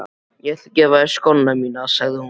Ég ætla að gefa þér skóna mína, sagði hún.